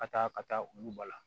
Ka taa ka taa olu ba la